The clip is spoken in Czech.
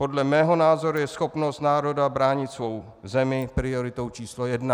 Podle mého názoru je schopnost národa bránit svou zemi prioritou číslo jedna.